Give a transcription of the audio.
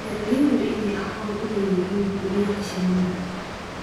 Beeraleydu waa in ay aqoon u leeyihiin guryaha shinnida.